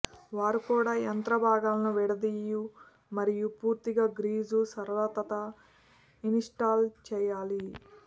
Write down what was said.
వారు కూడా యంత్ర భాగాలను విడదీయు మరియు పూర్తిగా గ్రీజు సరళత ఇన్స్టాల్ చేయాలి